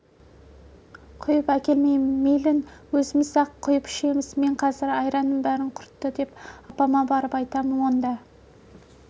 құйып әкелмеймін мейлің өзіміз-ақ құйып ішеміз мен қазір айранның бәрін құртты деп апама барып айтамын онда